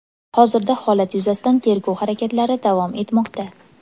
Hozirda holat yuzasidan tergov harakatlari davom etmoqda.